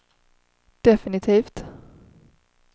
definitivt